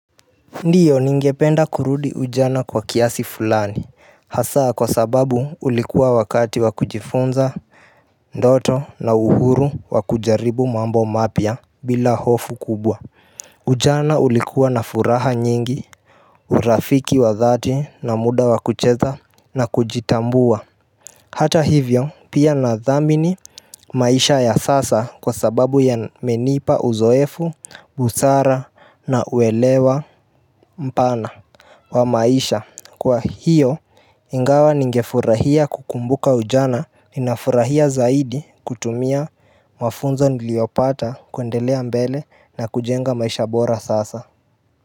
Ndiyo ningependa kurudi ujana kwa kiasi fulani hasa kwa sababu ulikuwa wakati wa kujifunza ndoto na uhuru wa kujaribu mambo mapya bila hofu kubwa ujana ulikuwa na furaha nyingi urafiki wa dhati na muda wa kucheza na kujitambua hata hivyo pia na dhamini maisha ya sasa kwa sababu ya menipa uzoefu busara na uelewa mpana Wamaisha kwa hiyo ingawa nigefurahia kukumbuka ujana ninafurahia zaidi kutumia mafunzo niliopata kuendelea mbele na kujenga maisha bora sasa.